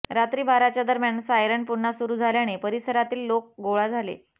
रात्री बाराच्या दरम्यान सायरन पुन्हा सुरू झाल्याने परिसरातील लोक गोळा झाले